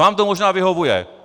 Vám to možná vyhovuje.